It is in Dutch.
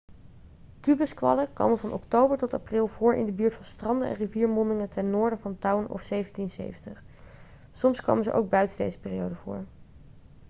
kubuskwallen komen van oktober tot april voor in de buurt van stranden en riviermondingen ten noorden van town of 1770 soms komen ze ook buiten deze periode voor